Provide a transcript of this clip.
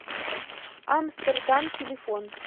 амстердам телефон